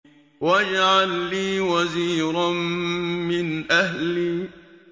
وَاجْعَل لِّي وَزِيرًا مِّنْ أَهْلِي